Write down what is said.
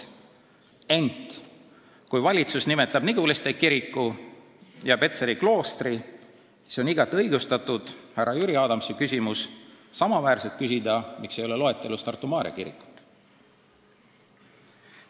Ent kui valitsus nimetab Niguliste kirikut ja Petseri kloostrit, siis on igati õigustatud härra Jüri Adamsi küsimus, miks ei ole loetelus Tartu Maarja kirikut.